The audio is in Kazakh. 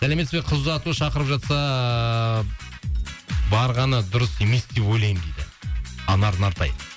сәлеметсізбе қыз ұзату шақырып жатса барғаны дұрыс емес деп ойлаймын дейді анар нартай